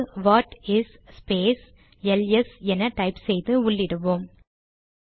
இப்போது what is space LS என type செய்து உள்ளிடுவோம்